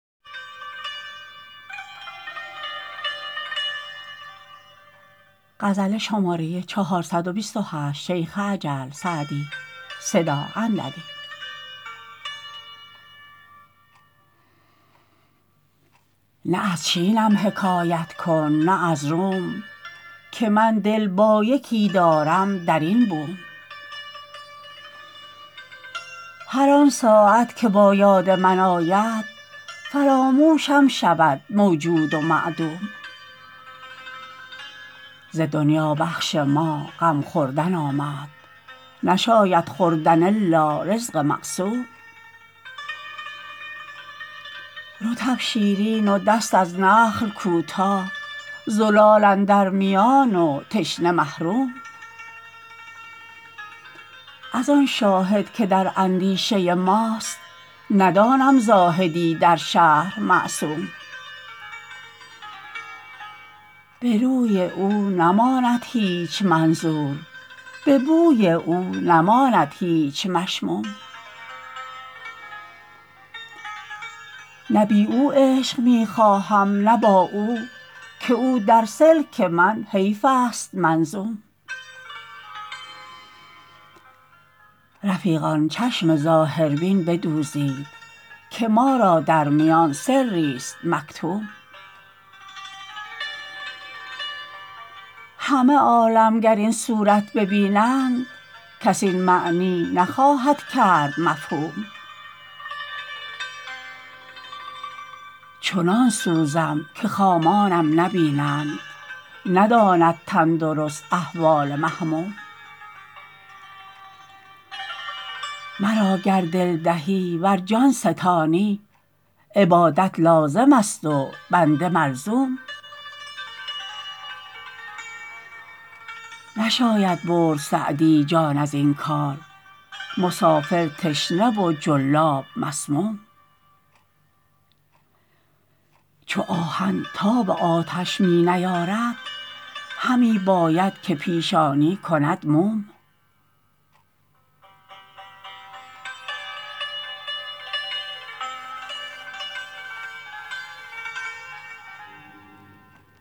نه از چینم حکایت کن نه از روم که من دل با یکی دارم در این بوم هر آن ساعت که با یاد من آید فراموشم شود موجود و معدوم ز دنیا بخش ما غم خوردن آمد نشاید خوردن الا رزق مقسوم رطب شیرین و دست از نخل کوتاه زلال اندر میان و تشنه محروم از آن شاهد که در اندیشه ماست ندانم زاهدی در شهر معصوم به روی او نماند هیچ منظور به بوی او نماند هیچ مشموم نه بی او عیش می خواهم نه با او که او در سلک من حیف است منظوم رفیقان چشم ظاهربین بدوزید که ما را در میان سریست مکتوم همه عالم گر این صورت ببینند کس این معنی نخواهد کرد مفهوم چنان سوزم که خامانم نبینند نداند تندرست احوال محموم مرا گر دل دهی ور جان ستانی عبادت لازم است و بنده ملزوم نشاید برد سعدی جان از این کار مسافر تشنه و جلاب مسموم چو آهن تاب آتش می نیارد همی باید که پیشانی کند موم